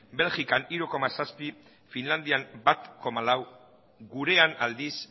belgikan hiru puntu zazpi finlandian bat puntu lau gurean aldiz